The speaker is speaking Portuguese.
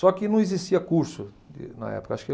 Só que não existia curso de na época. Acho que